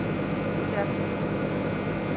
Gerðar